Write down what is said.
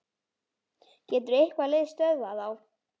Getur eitthvað lið stöðvað þá?